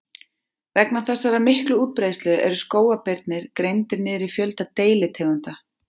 Vegna þessarar miklu útbreiðslu eru skógarbirnir greindir niður í fjölda deilitegunda.